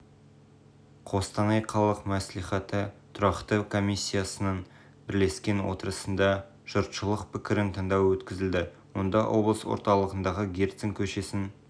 қостанай қалалық мәслихаты тұрақты комиссиясының бірлескен отырысында жұртшылық пікірін тыңдау өткізілді онда облыс орталығындағы герцен көшесін